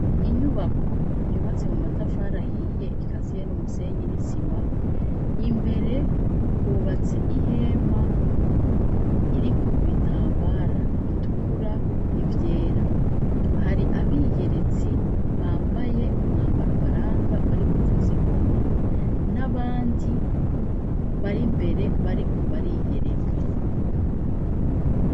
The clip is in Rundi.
Inyubako yubatse mu matafari ahiye ikaziye n'umusenyi n'isima, imbere hubatse ihema iriko ibitambara bitukura n'ivyer. Hari abiyeretsi bambaye umwambaro ubaranga bari kuvuza ingoma, n'abandi bari imbere bariko bariyereka.